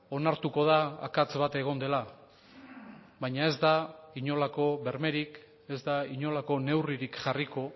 onartuko da akats bat egon dela baina ez da inolako bermerik ez da inolako neurririk jarriko